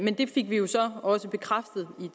det fik vi jo så også bekræftet med